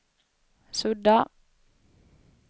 sudda